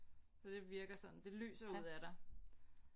For det virker sådan det lyser ud af dig